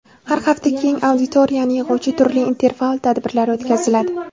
Har hafta keng auditoriyani yig‘uvchi turli interfaol tadbirlar o‘tkaziladi.